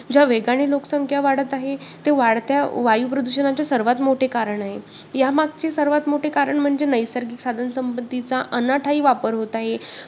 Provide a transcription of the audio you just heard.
ज्या वेगाने लोकसंख्या वाढत आहे ते वाढत्या वायु प्रदूषणाचे सर्वात मोठे कारण आहे. यामागचे सर्वात मोठे कारण म्हणजे नैसर्गिक साधनसंपत्तीचा अनाठायी वापर होत आहे.